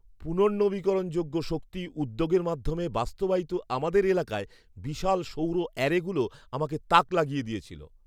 পুনর্নবীকরণযোগ্য শক্তি উদ্যোগের মাধ্যমে বাস্তবায়িত আমাদের এলাকায় বিশাল সৌর অ্যারেগুলো আমাকে তাক লাগিয়ে দিয়েছিল।